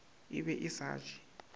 e be e sa je